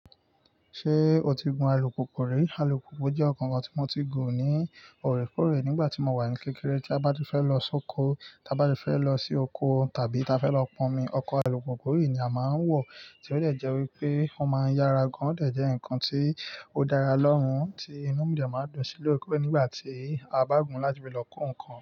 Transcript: Ṣé o ti gun alùpùpù rí? Alùpùpù jẹ́ ǹkan kan tí mo ti gun ní òrékóòrè nígbà tí mo wà ní kékeré. Tí a bá fẹ́ lọ sóko, ta bá fẹ́ lọ sí oko tàbí ta fẹ́ lọ pọnmi, ọkọ̀ alùpùpù yìí ni a máa ń wọ̀, tí ó dẹ̀ jẹ wípé ó máa ń yára gan, ó dẹ̀ jẹ ǹkan tí ó dára lórun tí inú dẹ̀ máa ń dùn sí lóòrèkóòrè nígbà tí a bá gùn láti fi lọ ko ǹkan.